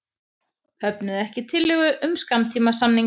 Höfnuðu ekki tillögu um skammtímasamning